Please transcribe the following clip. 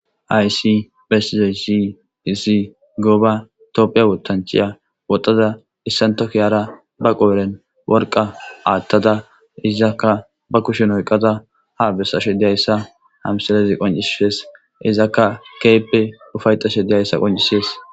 aysi bessizoy siizi gooba toophiya wotanchiya woxxada issantokiyara ba qo7eren worqa aathtada izakka ba kushen oyqada ha bessashe diyayssa hamsalezi qoncisshees izakka keeppe ufayxashe diyayssa qoncisees